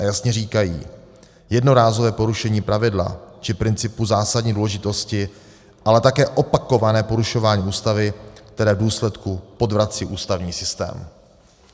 A jasně říkají: Jednorázové porušení pravidla či principu zásadní důležitosti, ale také opakované porušování Ústavy, které v důsledku podvrací ústavní systém.